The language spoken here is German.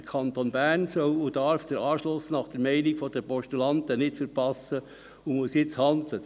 Der Kanton Bern soll und darf den Anschluss nach Meinung der Postulanten nicht verpassen und muss jetzt handeln.